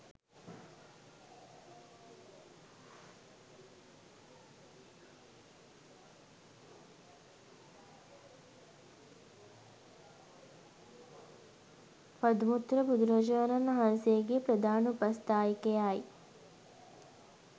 පදුමුත්තර බුදුරජාණන් වහන්සේගේ ප්‍රධාන උපස්ථායකයා යි.